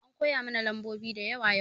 An koyamana lambobi da yawa yau